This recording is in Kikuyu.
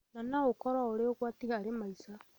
na no ũkorũo ũrĩ ũgwati harĩ maica.